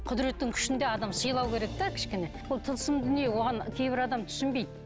құдіреттің күшін де адам сыйлау керек те кішкене ол тылсым дүние оған кейбір адам түсінбейді